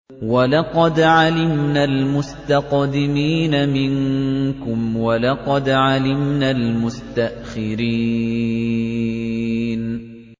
وَلَقَدْ عَلِمْنَا الْمُسْتَقْدِمِينَ مِنكُمْ وَلَقَدْ عَلِمْنَا الْمُسْتَأْخِرِينَ